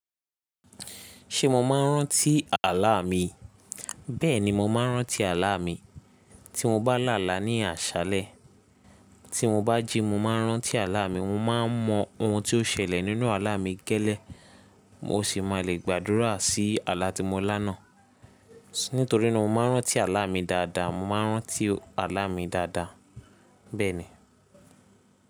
Ṣé mo máa ń rántí àlá mi? Bẹ́ẹ̀ni, mo máa ń rántí àlá mi. Tí mo bá là álá ní àṣálẹ́, tí mo bá jí, mo máa ń rántí àlá mi. Mo máa ń mọ ohun tí ó ṣẹlẹ̀ nínú àlá mi gẹ́lẹ́, mo sì máa le gbàdúrà sí àlá tí mo lá náà. Nítorí náà mo máa ń rántí àlá mi dáadáa. Mo máa ń rántí àlá mi dáadáa, bẹ́ẹ̀ ni.